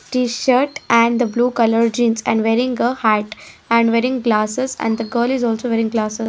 t shirt and the blue colour jeans and wearing a hat and wearing glasses and the girl is also wearing glasses.